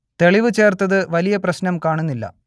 തെളിവ് ചേർത്തത് വലിയ പ്രശ്നം കാണുന്നില്ല